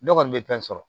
Ne kɔni bɛ fɛn sɔrɔ